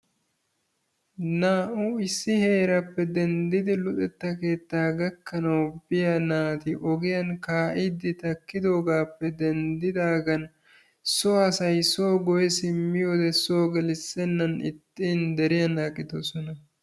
Naa"u issi heeraappe denddidi luxetta keetaa gakkanawu biya naati ogiyan kaaiidi qmissidoogappe denddidaagan so asay soo gelisennan ixxin deriyan aqqidosona.